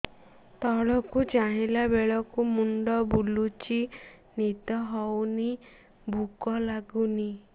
ତଳକୁ ଚାହିଁଲା ବେଳକୁ ମୁଣ୍ଡ ବୁଲୁଚି ନିଦ ହଉନି ଭୁକ ଲାଗୁନି